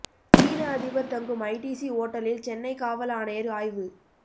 சீன அதிபர் தங்கும் ஐடிசி ஓட்டலில் சென்னை காவல் ஆணையர் ஆய்வு